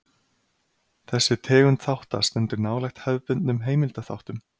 Þessi tegund þátta stendur nálægt hefðbundnum heimildaþáttum.